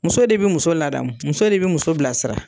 Muso de be muso ladamu, muso de be muso bilasira.